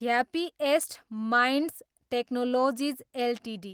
happiest minds technologies Ltd